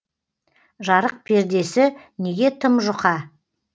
жарық пердесі неге тым жұқа